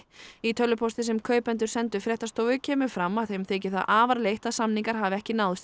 í tölvupósti sem kaupendur sendu fréttastofu kemur fram að þeim þyki það afar leitt að samningar hafi ekki náðst